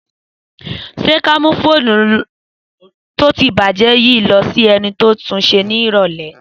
Sẹ ka mu fònú tò ti bàjẹ yìí lọ sílè èni to tùnsẹ ni ìrọlẹ́